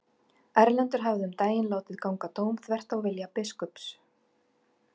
Erlendur hafði um daginn látið ganga dóm þvert á vilja biskups.